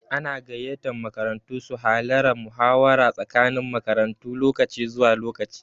Ana gayyatan makarantu su halara muhawara tsakanin makarantu lokaci zuwa lokaci.